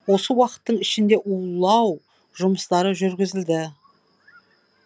осы уақыттың ішінде улау жұмыстары жүргізілді